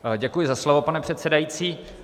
Děkuji za slovo, pane předsedající.